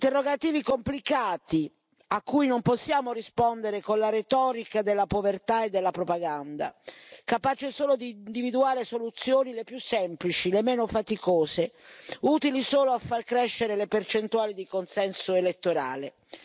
Interrogativi complicati, a cui non possiamo rispondere con la retorica della povertà e della propaganda, capace solo di individuare soluzioni le più semplici, le meno faticose, utili solo a far crescere le percentuali di consenso elettorale.